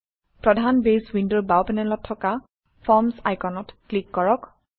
প্ৰধান বেছ উইণ্ডৰ বাও পেনেলত থকা ফৰ্মচ আইকনত ক্লিক কৰক